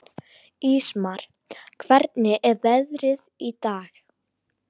Ísmar, hvernig er veðrið í dag?